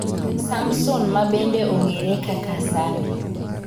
Samson ma bende ong'ere kaka Sammy